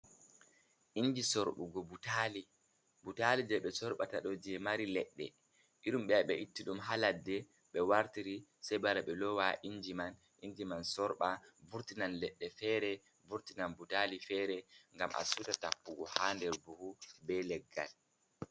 Inji surɓugo butali. Butali je ɓe soɓata ɗo je mari leɗɗe irin je ɓe itti ɗum ha ladde be wartiri sei ɓe wara ɓe lowa ha nder inji man inji man sorɓa vurtinan leɗɗe fere vurtinan butali fere ngam a siuta tappugo ha nder buhu be leggal.